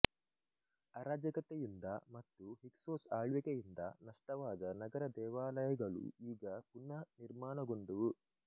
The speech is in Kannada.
ಅರಾಜಕತೆಯಿಂದ ಮತ್ತು ಹಿಕ್ಸೋಸ್ ಆಳ್ವಿಕೆಯಿಂದ ನಷ್ಟವಾದ ನಗರ ದೇವಾಲಯಗಳು ಈಗ ಪುನಃ ನಿರ್ಮಾಣಗೊಂಡುವು